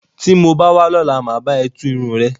Tí mo bá wá lọ́la. Mà á bá ẹ tú irun rẹ.